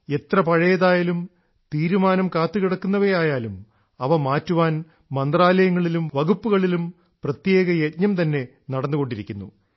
എത്ര പഴയതായാലും തീരുമാനം കാത്തുകിടക്കുന്നവയായാലും ആയാലും അവ മാറ്റാൻ മന്ത്രാലയങ്ങളിലും വകുപ്പുകളിലും പ്രത്യേക യജ്ഞം തന്നെ നടന്നുകൊണ്ടിരിക്കുന്നു